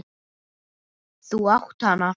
Þú átt hana!